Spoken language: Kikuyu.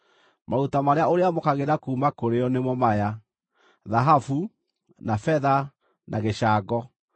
Maruta marĩa ũrĩamũkagĩra kuuma kũrĩ o nĩmo maya: thahabu, na betha na gĩcango;